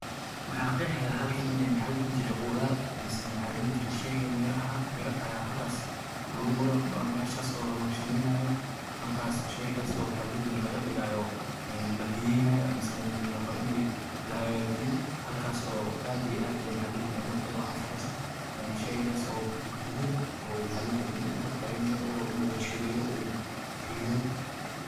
waxaa qeexaya halkan inay maxa la dhihi jiray khudaar mise neh waxaa la dhihi jiray sheega miraha mira ayaa halkaas lagu meeshaas oo la warshadaynayo markaas shayga soo maxa la dihi jiray dhigaayo labiyeynayo laga dhigayo een labiyeynayo mase beh la rabo inay la hagaajiyo halkaas oo aada iyo aada u mahadceliyey ummad waxaan saxayso oo guduudan oo maxaa loo jiray nin uu ku taaganyahay urur inuu warshadayo uu shiido.